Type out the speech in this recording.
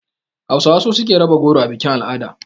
Hausawa su suke raba goro a bikin-al'ada.